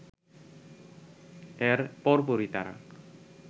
এর পরপরই তারা